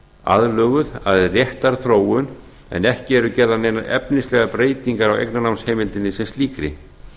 aðlöguð að réttarþróun en ekki eru gerðar neinar efnislegar breytingar á eignarnámsheimildinni sem slíkri